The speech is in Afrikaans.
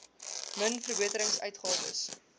min verbeterings uitgawes